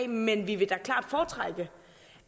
men vi vil da klart foretrække